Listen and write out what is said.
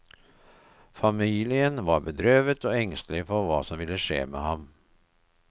Familien var bedrøvet og engstelige for hva som ville skje med ham.